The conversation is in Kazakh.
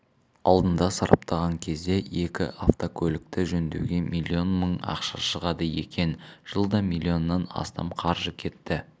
алдында сараптаған кезде екі автокөлікті жөндеуге миллион мың ақша шығады екен жылда миллионнан астам қаржы кетті